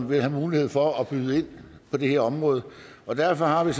vil have mulighed for at byde ind på det her område og derfor har vi